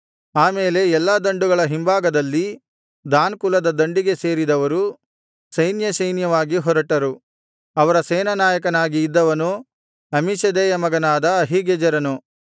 ಆ ಮೇಲೆ ಎಲ್ಲಾ ದಂಡುಗಳ ಹಿಂಭಾಗದಲ್ಲಿ ದಾನ್ ಕುಲದ ದಂಡಿಗೆ ಸೇರಿದವರು ಸೈನ್ಯಸೈನ್ಯವಾಗಿ ಹೊರಟರು ಅವರ ಸೇನಾನಾಯಕನಾಗಿ ಇದ್ದವನು ಅಮ್ಮೀಷದ್ದೈಯ ಮಗನಾದ ಅಹೀಗೆಜೆರನು